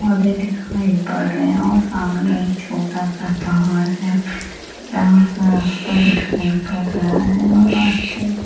पौधे दिखाई पर रहे हैं और सामने एक छोटा सा पहाड़ है जहाँ का रास्ता दिखाई पर रहा है और रास्ते --